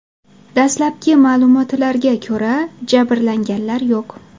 Dastlabki ma’lumotlarga ko‘ra, jabrlanganlar yo‘q.